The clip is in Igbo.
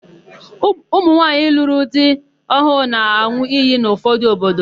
Ụmụnwaanyị lụrụ di ọhụụ na-an̄ụ iyi n'ụfọdụ obodo.